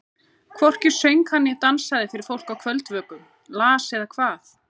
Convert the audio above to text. Hvorki söng hann né dansaði fyrir fólk á kvöldvökum, las eða kvað.